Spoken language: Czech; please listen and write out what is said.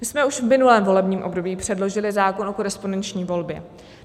My jsme už v minulém volebním období předložili zákon o korespondenční volbě.